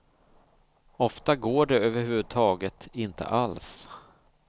Ofta går det överhuvudtaget inte alls.